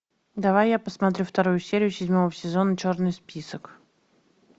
давай я посмотрю вторую серию седьмого сезона черный список